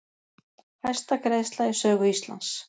Hæsta greiðsla í sögu Íslands